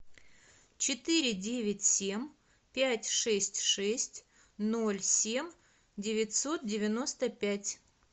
четыре девять семь пять шесть шесть ноль семь девятьсот девяносто пять